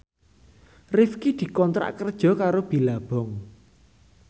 Rifqi dikontrak kerja karo Billabong